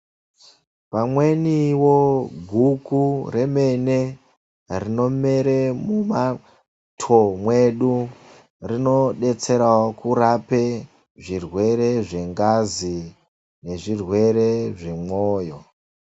Pamweniwo guku remene, rinomere mumato mwedu rinodetserawo kurape zvirwere zvengazi nezvirwere zvemwoyo.